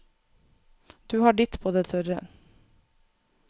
Du har ditt på det tørre.